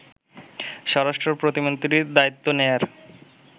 স্বরাষ্ট্র প্রতিমন্ত্রীর দায়িত্ব নেয়ার